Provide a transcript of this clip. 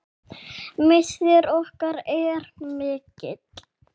Missir okkar er mikill.